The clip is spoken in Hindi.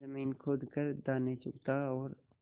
जमीन खोद कर दाने चुगता और